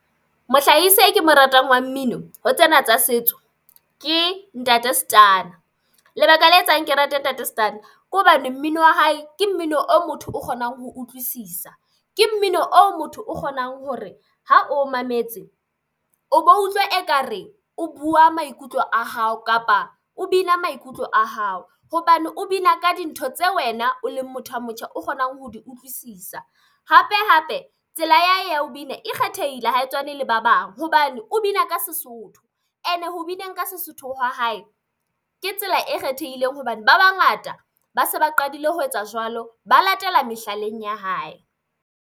Mohlahisi e ke mo ratang wa mmino ho tsena tsa setso ke Ntate Stunna lebaka le etsang ke rate Ntate Stunna ke hobane mmino wa hae ke mmino o motho o kgonang ho utlwisisa, ke mmino oo motho o kgonang hore ha o mametse, o bo utlwa ekare o buwa maikutlo a hao kapa o bina maikutlo a hao hobane o bina ka dintho tse wena, o leng motho a motjha o kgonang ho di utlwisisa. Hape-hape tsela ya hae ya ho bina e kgethehile ha e tshwane le ba bang hobane o bina ka Sesotho ene ho bineng ka Sesotho wa hae ke tsela e kgethehileng hobane ba bangata ba se ba qadile ho etsa jwalo, ba latela mehlaleng ya hae.